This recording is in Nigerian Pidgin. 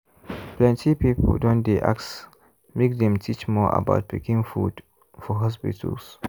plenty people don dey ask make dem teach more about pikin food for hospitals.